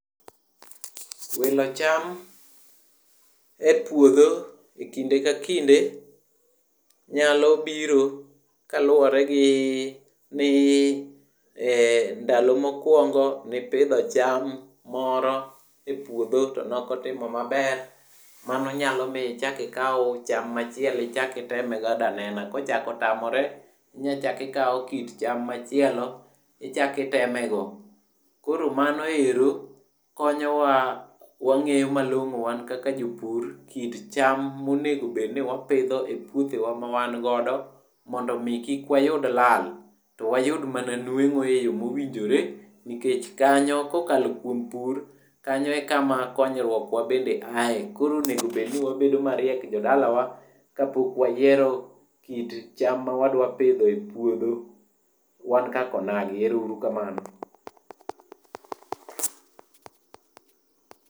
Wilo cham e puodho e kinde ka kinde nyalo biro kaluwore gi ndalo mokwongo mipidho cham moro to nokotimo maber. Mano nyalo mi ichak ikaw cham machielo ichak iteme godo anena. Kochako otamore tinyachako ikaw kit cham machielo ichako itemego. Koro mano ero konyowa wang'eyo malong'o wan kaka jopur kit cham monego bed ni wapitho e puothewa ma wan godo, mondo omi kik wayud lal to wayud mana nweng'o e yo mowinjore nikech kanyo, kokalo kuom pur, kanyo e kama konyruok wa bende aye. Koro onego bed ni wabende wabedo mariek jodalawa kapok wayiero kit cham ma wadwa pidho e puothewa kaka onagi. Ero uru kamano.